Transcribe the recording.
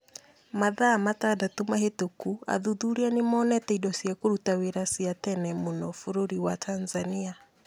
Mathaa matandatũ mahĩtũku athuthuria nĩ monete indo cia kũruta wĩra cia tene mũno bũrũri wa Tanzania.